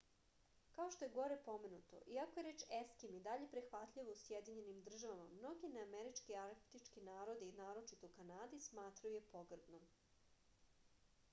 kao što je gore pomenuto iako je reč eskim i dalje prihvatljiva u sjedinjenim državama mnogi neamerički arktički narodi naročito u kanadi smatraju je pogrdnom